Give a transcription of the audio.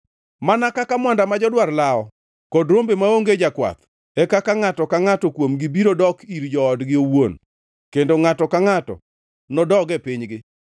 Mana kaka mwanda ma jodwar lawo, kod rombe maonge jakwath, e kaka ngʼato ka ngʼato kuomgi biro dok ir joodgi owuon kendo ngʼato ka ngʼato nodog e pinygi.